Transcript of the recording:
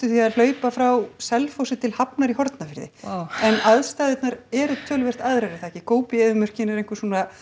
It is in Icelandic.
því að hlaupa frá Selfossi til Hafnar í Hornafirði vá en aðstæðurnar eru töluvert aðrar er það ekki góbí eyðimörkin er einn